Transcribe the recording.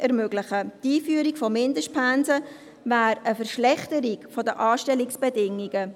Die Einführung von Mindestpensen wäre eine Verschlechterung der Anstellungsbedingungen.